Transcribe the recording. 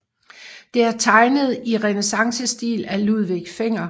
Det er tegnet i renæssancestil af Ludvig Fenger